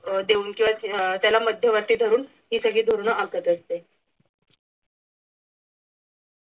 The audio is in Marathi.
देऊन किंवा त्याला मध्यवर्ती धरून ही सगळी धोरण आखत असते.